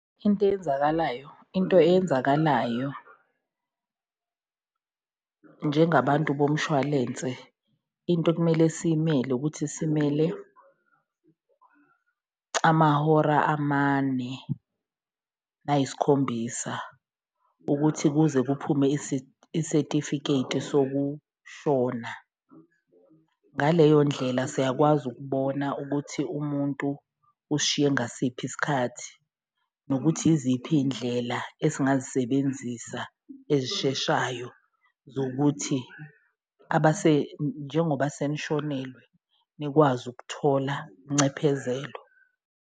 Into eyenzakalayo into eyenzakalayo njengabantu bomshwalense into okumele siyimele ukuthi simele amahora amane, nayisikhombisa ukuthi kuze kuphume isetefiketi sokushona. Ngaleyo ndlela siyakwazi ukubona ukuthi umuntu usishiye ngasiphi isikhathi nokuthi iziphi iy'ndlela esingazisebenzisa ezisheshayo zokuthi, njengoba senishonelwe nikwazi ukuthola uncephezelo.